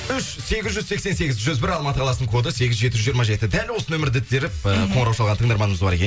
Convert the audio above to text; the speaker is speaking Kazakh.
үш сегіз жүз сексен сегіз жүз бір алматы қаласының коды сегіз жеті жүз жиырма жеті дәл осы номерді теріп ыыы қоңырау шалған тыңдарманымыз бар екен